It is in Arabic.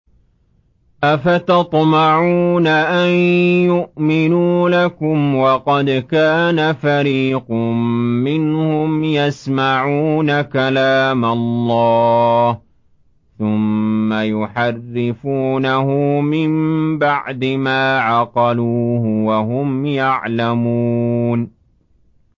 ۞ أَفَتَطْمَعُونَ أَن يُؤْمِنُوا لَكُمْ وَقَدْ كَانَ فَرِيقٌ مِّنْهُمْ يَسْمَعُونَ كَلَامَ اللَّهِ ثُمَّ يُحَرِّفُونَهُ مِن بَعْدِ مَا عَقَلُوهُ وَهُمْ يَعْلَمُونَ